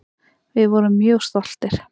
Við vorum mjög stoltir.